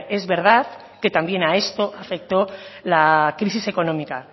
es verdad que también a esto afectó la crisis económica